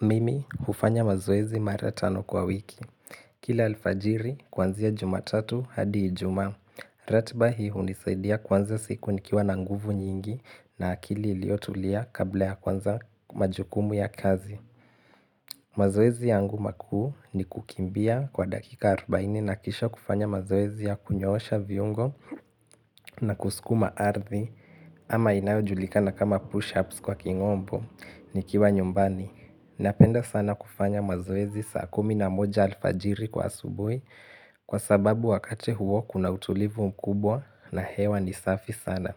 Mimi hufanya mazoezi mara tano kwa wiki. Kila alfajiri, kwanzia jumatatu hadi ijumaa. Ratiba hii hunisaidia kuanza siku nikiwa na nguvu nyingi na akili iliotulia kabla ya kwanza majukumu ya kazi. Mazoezi yangu makuu ni kukimbia kwa dakika arubaini na kisha kufanya mazoezi ya kunyoosha viungo na kuskuma ardhi. Ama inayojulika na kama push-ups kwa king'ombo nikiwa nyumbani. Napenda sana kufanya mazoezi saa kumi na moja alfajiri kwa asubui kwa sababu wakati huo kuna utulivu mkubwa na hewa ni safi sana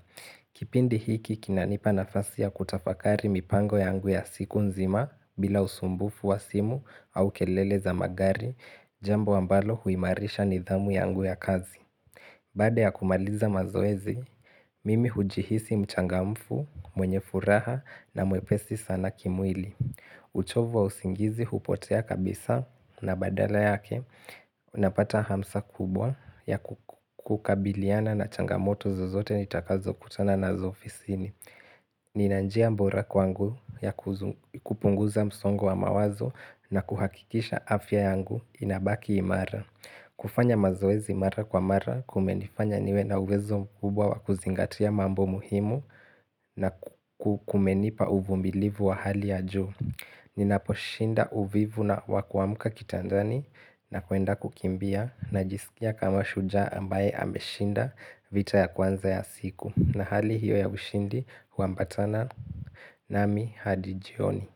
Kipindi hiki kina nipa nafasi ya kutafakari mipango yangu ya siku nzima bila usumbufu wa simu au kelele za magari Jambo ambalo huimarisha nidhamu yangu ya kazi Badaa ya kumaliza mazoezi, mimi hujihisi mchangamfu, mwenye furaha na mwepesi sana kimwili uchovu wa usingizi hupotea kabisa na badala yake Unapata hamsa kubwa ya kukabiliana na changamoto zozote nitakazo kutana nazo ofisini Nina njia bora kwangu ya kupunguza msongo wa mawazo na kuhakikisha afya yangu inabaki imara kufanya mazoezi mara kwa mara kumenifanya niwe na uwezo mkubwa wakuzingatia mambo muhimu na kumenipa uvumilivu wa hali ya juu Ninaposhinda uvivu na wa kuamka kitandani na kuenda kukimbia Najisikia kama shujaa ambaye ameshinda vita ya kwanza ya siku na hali hiyo ya ushindi huambatana nami hadi jioni.